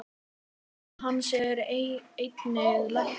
Maki hans er einnig læknir.